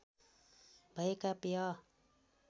भएका पेय